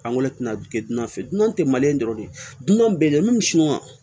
Angoni tɛna dan feere dunan tɛ maliyɛn dɔrɔn de dunna bɛ dɛmɛn suman